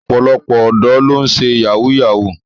Ọ̀pọ̀lọpọ̀ ọ̀dọ́ ló ń ṣe yahoo yahoo.